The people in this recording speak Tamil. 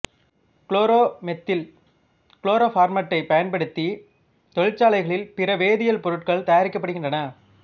குளோரோமெத்தில் குளோரோபார்மேட்டைப் பயன்படுத்தி தொழிற்சாலைகளில் பிற வேதியியல் பொருட்கள் தயாரிக்கப்படுகின்றன